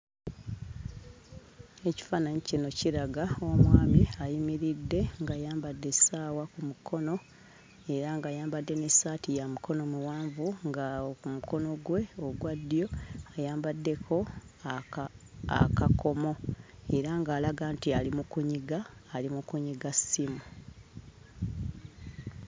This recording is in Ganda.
Ekifaananyi kino kiraga omwami ayimiridde ng'ayambadde essaawa ku mukono era g'ayambadde n'essaati ya mikono miwanvu nga awo ku mukono gwe ogwa ddyo ayambaddeko aka akakomo era ng'alaga nti ali mu kunyiga ali mu kunyiga ssimu.